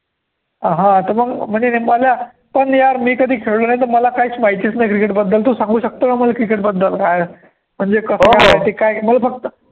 हा त मंग म्हणजे पण यार मी कधी खेळालो नाही, तर मला काहीच माहितीच नाही cricket बद्दल तु सांगू शकतो का मला cricket बद्दल, काय, म्हणजे मला फक्त